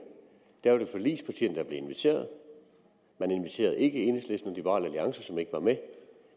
var det forligspartierne der blev inviteret man inviterede ikke enhedslisten og liberal alliance som ikke var med